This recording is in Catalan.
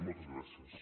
moltes gràcies